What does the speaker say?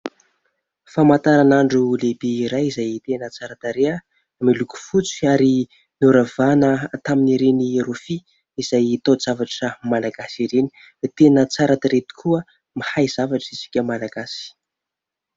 Famantaranandro lehibe iray izay tena tsara tarehy, miloko fotsy ary noravahana tamin'ireny rofia izay tao-javatra malagasy ireny. Tena tsara tarehy tokoa ; mahay zavatra isika Malagasy.